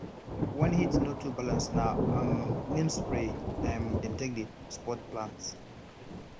when heat no too balance na um neem spray um dem take dey support plants